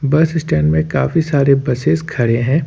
बस स्टैंड में काफी सारे बसेस खड़े हैं।